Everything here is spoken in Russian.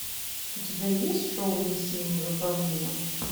у тебя есть шоу миссия невыполнима